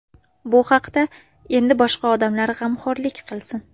Bu haqda endi boshqa odamlar g‘amxo‘rlik qilsin.